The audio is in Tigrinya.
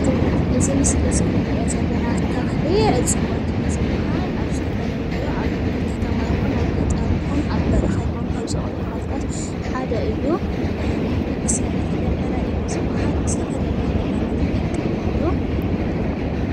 እዚ ምስሊ እዚ እንሪኦ ዘለና ተክሊ ዕፅዋት እዩ ዝብሃል። ኣብ ዝተፈላለዩ ኣብ ከተማ ይኹን፣ ኣብ ገጠር ይኹን፣ ኣብ በረኻ ይኹን ካብ ዝቦቕሉ ተኽልታት ሓደ እዩ። ተኽሊ ዕረ እዩ ዝብሃል ንዝተፈላለዩ ነገራት ይጠቅም እዩ።